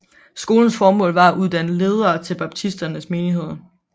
Skolens formål var at uddanne ledere til baptisternes menigheder